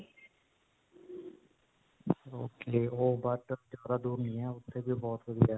ok. ਓਹ but ਜਿਆਦਾ ਦੂਰ ਨਹੀਂ ਹੈ. ਉੱਥੇ ਵੀ ਬਹੁਤ ਵਧੀਆ ਹੈ.